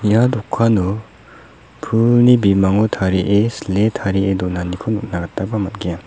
ia dokano pulni bimango tarie sile tarie donaniko nikna gitaba man·gen.